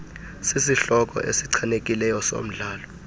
sisihloko esichanekileyo somdlalo